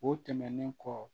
O tɛmɛnen kɔ